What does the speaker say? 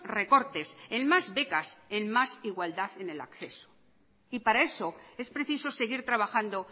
recortes en más becas en más igualdad en el acceso y para eso es preciso seguir trabajando